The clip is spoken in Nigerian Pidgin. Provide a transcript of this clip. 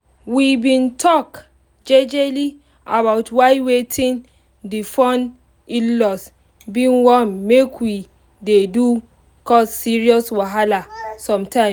we been talk jejely about why wetin the fun in-laws been wan make we do dey cause serious wahala sometimes